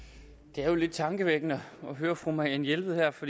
det er jo lidt tankevækkende at høre fru marianne jelved her for